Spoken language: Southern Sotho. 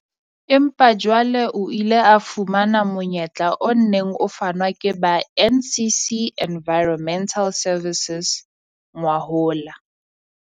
Empa jwale o ile a fumana monyetla o neng o fanwa ke ba NCC Environmental Services ngwahola.